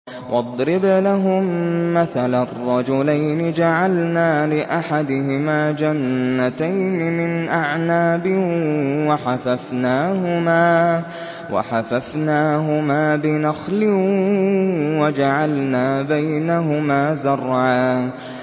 ۞ وَاضْرِبْ لَهُم مَّثَلًا رَّجُلَيْنِ جَعَلْنَا لِأَحَدِهِمَا جَنَّتَيْنِ مِنْ أَعْنَابٍ وَحَفَفْنَاهُمَا بِنَخْلٍ وَجَعَلْنَا بَيْنَهُمَا زَرْعًا